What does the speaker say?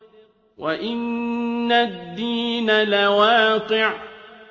وَإِنَّ الدِّينَ لَوَاقِعٌ